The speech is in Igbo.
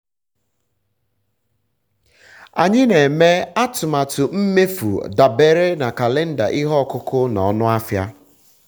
anyị na-eme atụmatụ mmefu dabere na kalenda ihe ọkụkụ na ọnụ ahịa